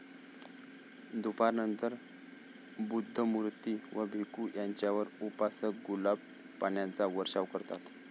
दुपारनंतर बुद्धमूर्ती व भिखू यांच्यावर उपासक गुलाब पाण्याचा वर्षाव करतात.